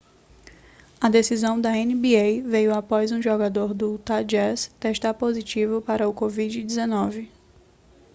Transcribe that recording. a decisão da nba veio após um jogador do utah jazz testar positivo para o covid-19